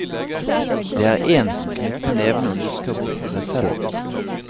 Det er én som knytter nevene og lusker bort for seg selv.